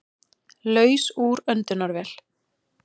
Laus úr öndunarvél